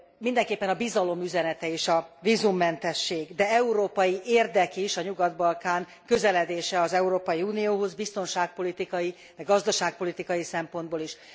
Mindenképpen a bizalom üzenete és a vízummentesség, de európai érdek is a Nyugat Balkán közeledése az Európai Unióhoz biztonságpolitikai, gazdaságpolitikai szempontból is.